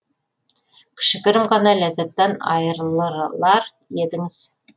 кішігірім ғана ләззаттан айырылырар едіңіз